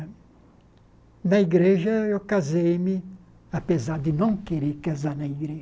E na igreja eu casei-me, apesar de não querer casar na igreja.